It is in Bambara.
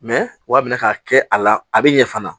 Mɛ wa a bɛna ka kɛ a la a bɛ ɲɛ fana